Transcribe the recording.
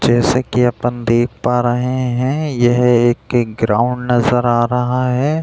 जैसे कि अपन देख पा रहे हैं यह एक ग्राउंड नजर आ रहा है।